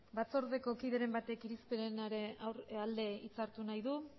batzordeko kideren batek irizpidearen alde hitza hartu nahi du